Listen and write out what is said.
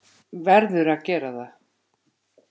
Verður að gera það.